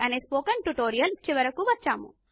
అనే spoken tutorial చివరకు వచ్చేసాము